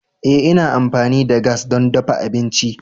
Ee ina amfani da gas don dafa abinci.